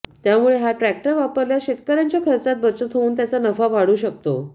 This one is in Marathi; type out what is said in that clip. त्यामुळे हा ट्रॅक्टर वापरल्यास शेतकऱ्याच्या खर्चात बचत होऊन त्याचा नफा वाढू शकतो